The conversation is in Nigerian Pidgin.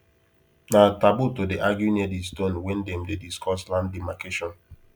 na taboo to dey argue near the stone when them dey discuss land demarcation